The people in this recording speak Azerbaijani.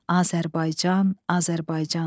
Azərbaycan, Azərbaycan!